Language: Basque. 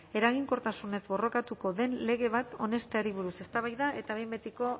eraginkortasunez borrokatuko den lege bat onesteari buruz eztabaida eta behin betiko